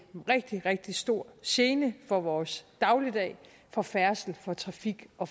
rigtig rigtig stor gene for vores dagligdag for færdsel for trafik og